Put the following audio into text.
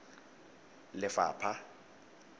lefapha